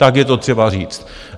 Tak je to třeba říci.